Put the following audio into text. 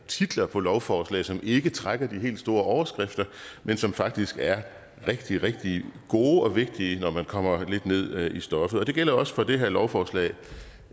titler på lovforslag som ikke trækker de helt store overskrifter men som faktisk er rigtig rigtig gode og vigtige når man kommer lidt ned i stoffet det gælder også for det her lovforslag